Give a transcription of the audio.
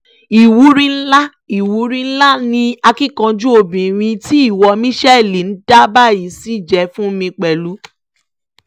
ìwúrí ńlá ìwúrí ńlá ni akíkanjú obìnrin tí ìwọ michelle ń dà báyìí ṣì jẹ́ fún mi pẹ̀lú